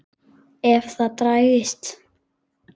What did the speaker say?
Og ef það dregst.